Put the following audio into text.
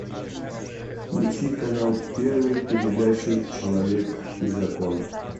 включи канал первый передачу человек и закон